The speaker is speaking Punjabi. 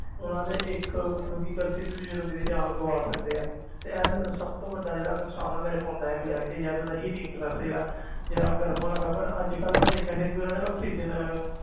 ਉਹਨਾਂ ਦੇ ਇੱਕ ਮਤਲਬ ਕਿ ਗ਼ਲਤੀ ਦੂਜੇ ਬੰਦੇ ਦੀ ਜਾਨ ਗਵਾ ਸਕਦੇ ਹੈ ਤੇ ਇਹ ਤਾਂ ਮੇਰਾ ਸਭ ਤੋਂ ਵੱਡਾ ਜਿਹੜਾ ਨੁਕਸਾਨ ਨਾ ਮੇਰੇ phone ਦਾ ਇਹ ਮਿਲਿਆ ਕਿ ਯਾਰ ਇਹਦਾ heating process ਜਿਹੜਾ ਜਿਹੜਾ ਗਰਮ ਹੋਣ ਲੱਗ ਪਿਆ ਪਰ ਅੱਜ ਕੱਲ੍ਹ ਮੈਂ ਦੇਖਿਆ ਫਿਰ ਵੀ ਇਹਨਾਂ ਨੇ ਆਕਸੀਜਨ